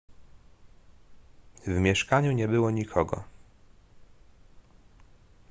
w mieszkaniu nie było nikogo